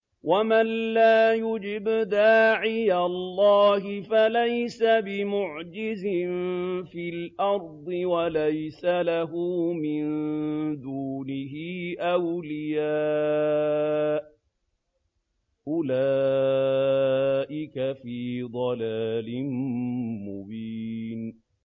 وَمَن لَّا يُجِبْ دَاعِيَ اللَّهِ فَلَيْسَ بِمُعْجِزٍ فِي الْأَرْضِ وَلَيْسَ لَهُ مِن دُونِهِ أَوْلِيَاءُ ۚ أُولَٰئِكَ فِي ضَلَالٍ مُّبِينٍ